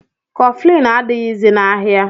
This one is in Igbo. Kọflin adịghịzi n'ahịa